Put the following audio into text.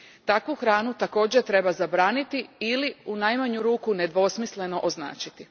Takvu hranu također treba zabraniti ili, u najmanju ruku, nedvosmisleno označiti.